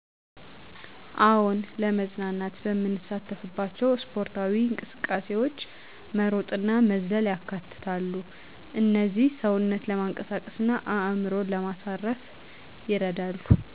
አዎን፣ ለመዝናናት በምሳተፍባቸው ስፖርታዊ እንቅስቃሴዎች መሮጥእና መዝለል ያካትታሉ። እነዚህ ሰውነትን ለማንቃት እና አእምሮን ለማሳረፍ ይረዳሉ።